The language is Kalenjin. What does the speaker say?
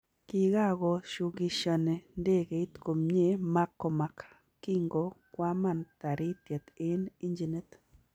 Kikagoo shukishani ndegeit komye McCormack kingo kwaman Taritiet eng injinit